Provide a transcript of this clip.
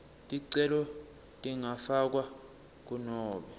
ticelo tingafakwa kunobe